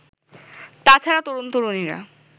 তা ছাড়া তরুণ-তরুণীরা